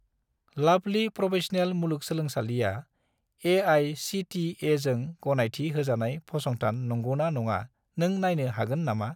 लाभलि professional मुलुगसोलोंसालिआ ए.आइ.सि.टि.इ.जों गनायथि होजानाय फसंथान नंगौना नङा नों नायनो हागोन नामा?